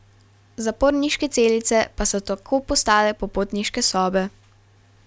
Zaporniške celice pa so tako postale popotniške sobe.